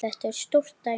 Þetta var stórt dæmi.